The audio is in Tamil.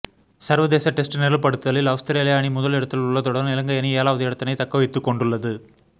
சர்வதேச டெஸ்ட் நிரல் படுத்தலில் அவுஸ்திரேலிய அணி முதலிடத்தில் உள்ளதுடன் இலங்கையணி ஏழாவது இடத்தினை தக்கவைத்துக்கொண்டுள்ளது